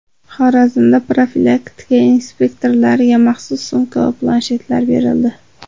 Xorazmda profilaktika inspektorlariga maxsus sumka va planshetlar berildi .